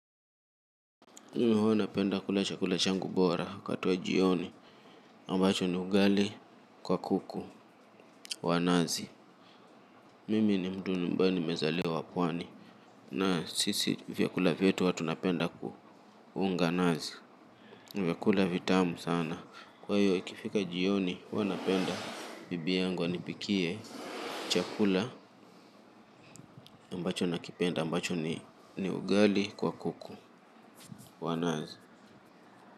Ndiyo huwa napenda kula chakula changu bora wakati wa jioni ambacho ni ugali kwa kuku wa nazi. Mimi ni mtu ambaye ni mezaliwa pwani. Na sisi vyakula vyetu huwa tunapenda kuhunga nazi. Ni vyakula vitamu sana. Kwa hiyo ikifika jioni huwa napenda bibi yangu anipikie chakula ambacho nakipenda ambacho ni ugali kwa kuku wa nazi.